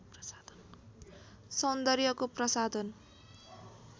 सौन्दर्यको प्रसाधन